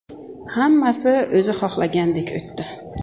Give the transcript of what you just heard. Hammasi o‘zi xohlagandek o‘tdi.